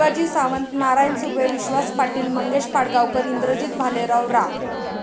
शिवाजी सावंत, नारायण सुर्वे, विश्वास पाटील, मंगेश पाडगावकर, इंद्रजित भालेराव, रा.